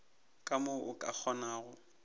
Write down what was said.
ka mo o ka kgonago